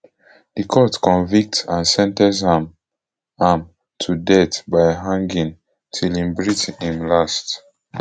di court convict and sen ten ce am am to death by hanging till im breath im last